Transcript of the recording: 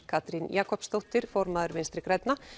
Katrín Jakobsdóttir formaður Vinstri grænna